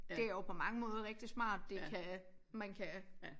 Det er jo på mange måder rigtig smart det kan man kan